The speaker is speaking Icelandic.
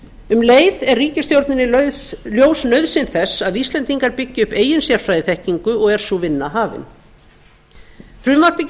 um leið er ríkisstjórninni ljós nauðsyn þess að íslendingar byggi upp eigin sérfræðiþekkingu og er sú vinna hafin frumvarpið